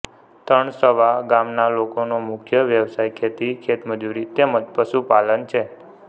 તણસવા ગામના લોકોનો મુખ્ય વ્યવસાય ખેતી ખેતમજૂરી તેમ જ પશુપાલન છે